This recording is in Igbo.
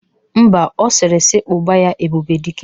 Ḿbà, ọ sịrị si kpoba ya "Ebube Dike"